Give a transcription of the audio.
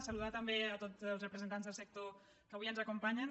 saludar també tots els represen·tants del sector que avui ens acompanyen